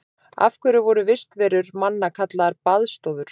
Af hverju voru vistarverur manna kallaðar baðstofur?